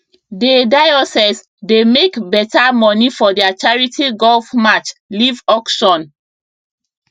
dey diocese dey make beta money for their charity golf match leave auction